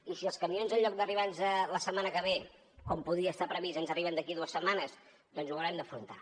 i si els camions en lloc d’arribarnos la setmana que ve com podria estar previst ens arriben d’aquí a dues setmanes doncs ho haurem d’afrontar